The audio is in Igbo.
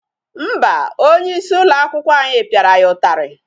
Mba, onye isi ụlọ akwụkwọ anyị pịara ya ụtarị.